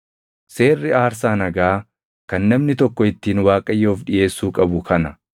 “ ‘Seerri aarsaa nagaa kan namni tokko ittiin Waaqayyoof dhiʼeessuu qabu kana.